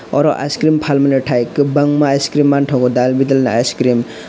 oro ice cream palmilitai kobangma ice cream mangtago dalbidal icecream.